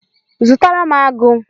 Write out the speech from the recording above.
Zụtara m agu